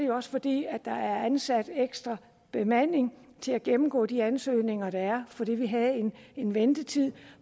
jo også fordi der er ansat ekstra bemanding til at gennemgå de ansøgninger der er fordi vi havde en ventetid